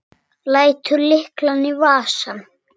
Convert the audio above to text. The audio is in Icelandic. Lætur lyklana í vasann.